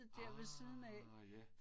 Ah ja